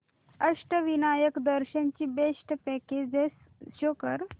अष्टविनायक दर्शन ची best packages show कर